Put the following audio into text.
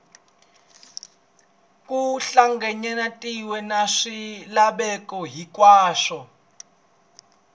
ku hlanganyetaniwe na swilaveko hinkwaswo